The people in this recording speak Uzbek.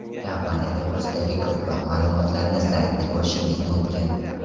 Kompaniya to‘g‘risidagi ko‘proq ma’lumotlarni saytida ko‘rishingiz mumkin!